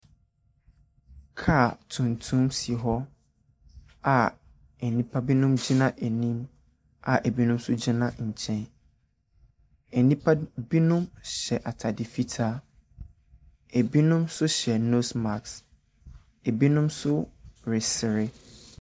Kaa tuntum si hɔ a ɛnipa binom gyina anim a ɛbinom nso gyina nkyɛn. Ɛnipa binom hyɛ ataade fitaa. Ɛbinom so hyɛ no maks. Ɛbinom so resre.